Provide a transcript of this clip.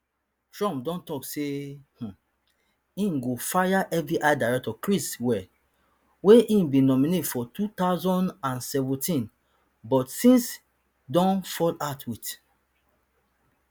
trump don tok say um e go fire fbi director chris wray wey e bin nominate for two thousand and seventeen but since don fall out wit